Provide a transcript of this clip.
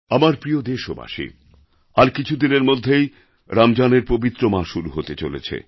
আমার প্রিয় দেশবাসী আর কিছুদিনের মধ্যেই রমজানের পবিত্র মাস শুরু হতে চলেছে